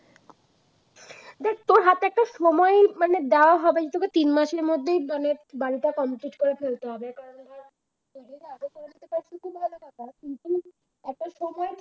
সময় মানে দেওয়া হবে সেটা তিন মাসের মানে বাড়িটা কমপ্লিট করে ফেলতে হবে একটা সময় থাকে